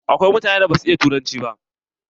Akwai mutanen da ba su iya turanci ba.